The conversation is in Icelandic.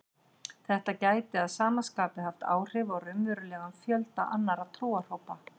Þetta gæti að sama skapi haft áhrif á raunverulegan fjölda annarra trúarhópa.